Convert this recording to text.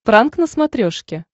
пранк на смотрешке